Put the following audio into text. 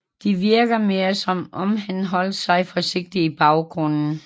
Det virker mere som om han holdt sig forsigtigt i baggrunden